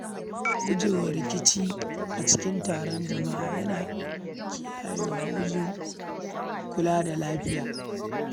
Gujewa rikici da taƙaddama a wuraren taron jama’a yana taimaka wajen kiyaye lafiya.